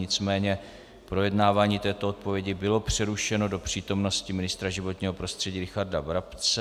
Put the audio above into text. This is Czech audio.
Nicméně projednávání této odpovědi bylo přerušeno do přítomnosti ministra životního prostředí Richarda Brabce.